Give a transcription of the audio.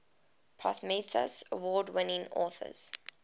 prometheus award winning authors